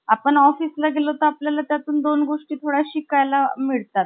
काहींची भाषा फारच कठोर होत्या. पण अण्णा शांतपणे हे हालाहाल पचवू शांत राहिले. विवाहानंतर अण्णा नेहमीप्रमाणे एकदा,